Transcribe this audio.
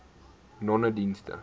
nonedienste